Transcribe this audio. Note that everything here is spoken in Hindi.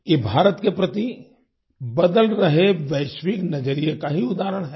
ये भारत के प्रति बदल रहे वैश्विक नजरिये का ही उदाहरण है